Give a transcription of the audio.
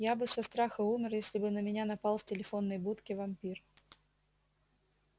я бы со страха умер если бы на меня напал в телефонной будке вампир